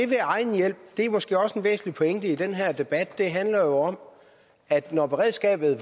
ved egen hjælp er måske også en væsentlig pointe i den her debat det handler om at når beredskabet